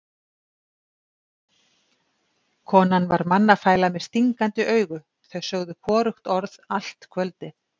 Konan var mannafæla með stingandi augu, þau sögðu hvorugt orð allt kvöldið.